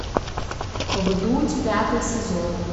вдудь пятый сезон